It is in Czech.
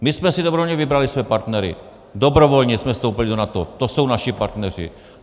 My jsme si dobrovolně vybrali své partnery, dobrovolně jsme vstoupili do NATO, to jsou naši partneři.